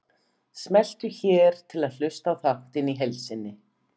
Smelltu hér til að hlusta á þáttinn í heild sinni